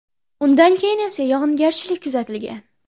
Undan keyin esa yog‘ingarchiliik kuzatilgan.